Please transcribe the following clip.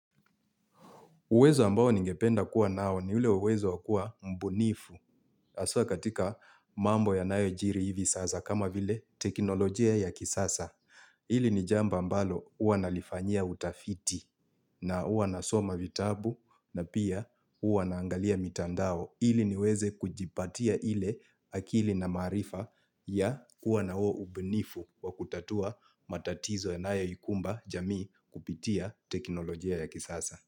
Uwezo ambao ningependa kuwa nao ni ule uwezo wakuwa mbunifu aswa katika mambo ya nayojiri hivi sasa kama vile teknolojia ya kisasa. Ili ni jamba mbalo uwa nalifanya utafiti na uwa nasoma vitabu na pia uwa naangalia mitandao ili niweze kujipatia ile akili na maarifa ya kuwa na huo ubunifu wa kutatua matatizo yanayoikumba jamii kupitia teknolojia ya kisasa.